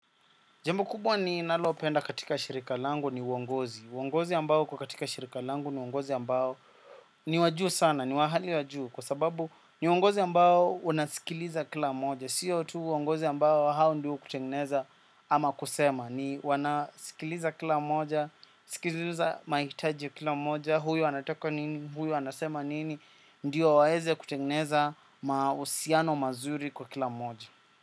Jambo kubwa ninalopenda katika shirika langu ni wongozi. Wongozi ambao uko katika shirika langu ni wongozi ambao ni wajuu sana, ni wa hali wajuu. Kwa sababu ni wongozi ambao wanasikiliza kila moja. Sio tu wongozi ambao hao ndio kutengeneza ama kusema. Ni wanasikiliza kila moja, sikiliza maitaji ya kila moja. Huyo anataka nini, huyo anasema nini, ndio waeze kutengeneza mausiano mazuri kwa kila moja.